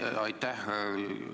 Aitäh!